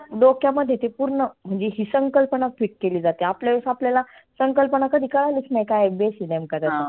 डोक्यामध्ये ते पुर्ण म्हणजे ही संकल्पना fit केली जाते. आपल्या वेळेस आपल्याला संकल्पना कधी कळालीच नाही. काय आहे basic नेमका